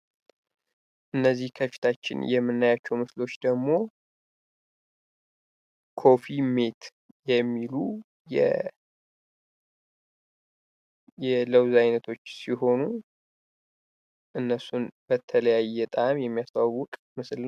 እነዚህ ከፊታችን የምናያቸዉ ምርቶች ደግሞ ኮፊ ሚት የሚሉ የለዉዝ አይነቶች ሲሆኑ እነሱን በተለያየ ጣዕም የሚያስተዋዉቅ ምስል ነዉ።